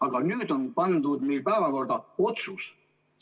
Aga meil on pandud päevakorda otsuse.